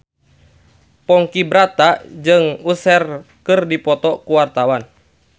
Ponky Brata jeung Usher keur dipoto ku wartawan